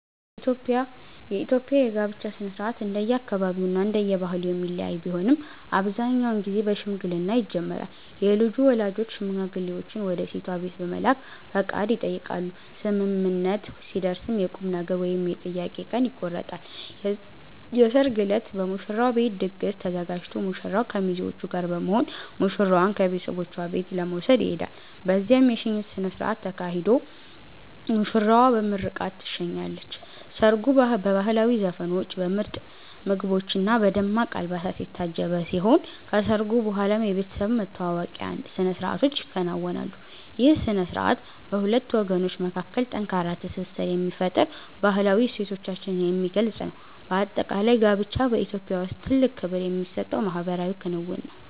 የኢትዮጵያ የጋብቻ ሥነ ሥርዓት እንደየአካባቢውና እንደየባህሉ የሚለያይ ቢሆንም፣ አብዛኛውን ጊዜ በሽምግልና ይጀምራል። የልጁ ወላጆች ሽማግሌዎችን ወደ ሴቷ ቤት በመላክ ፈቃድ ይጠይቃሉ፤ ስምምነት ሲደረስም የቁምነገር ወይም የጥያቄ ቀን ይቆረጣል። የሰርግ ዕለት በሙሽራው ቤት ድግስ ተዘጋጅቶ ሙሽራው ከሚዜዎቹ ጋር በመሆን ሙሽራዋን ከቤተሰቦቿ ቤት ለመውሰድ ይሄዳል። በዚያም የሽኝት ሥነ ሥርዓት ተካሂዶ ሙሽራዋ በምርቃት ትሸኛለች። ሰርጉ በባህላዊ ዘፈኖች፣ በምርጥ ምግቦችና በደማቅ አልባሳት የታጀበ ሲሆን፣ ከሰርጉ በኋላም የቤተሰብ መተዋወቂያ ሥነ ሥርዓቶች ይከናወናሉ። ይህ ሥነ ሥርዓት በሁለት ወገኖች መካከል ጠንካራ ትስስር የሚፈጥርና ባህላዊ እሴቶቻችንን የሚገልጽ ነው። በአጠቃላይ፣ ጋብቻ በኢትዮጵያ ውስጥ ትልቅ ክብር የሚሰጠው ማኅበራዊ ክንውን ነው።